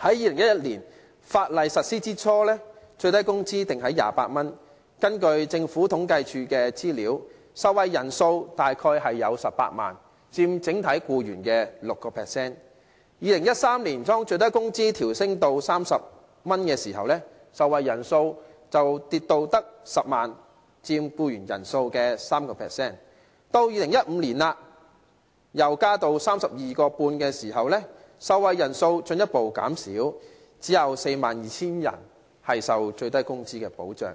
在2011年法例實施初期，最低工資訂為每小時28元，根據政府統計處的資料，受惠人數大約有18萬人，佔整體僱員的 6%； 在2013年，當最低工資調升至30元時，受惠人數卻跌至10萬人，佔僱員人數的 3%； 到了2015年增至 32.5 元時，受惠人數進一步減少，只有 42,000 人受最低工資的保障，